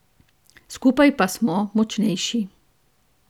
Skupaj pa smo močnejši.